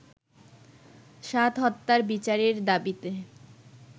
সাদ হত্যার বিচারের দাবিতে